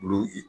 Olu ye